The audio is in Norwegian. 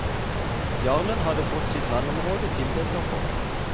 Jarlen hadde fått sitt landområde tildelt av kongen.